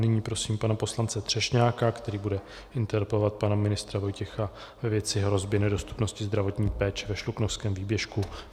Nyní prosím pana poslance Třešňáka, který bude interpelovat pana ministra Vojtěcha ve věci hrozby nedostupnosti zdravotní péče ve Šluknovském výběžku.